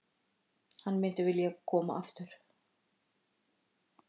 Hann myndi vilja koma yfir.